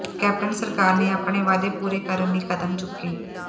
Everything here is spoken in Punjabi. ਕੈਪਟਨ ਸਰਕਾਰ ਨੇ ਆਪਣੇ ਵਾਅਦੇ ਪੂਰੇ ਕਰਨ ਲਈ ਕਦਮ ਚੁੱਕੇ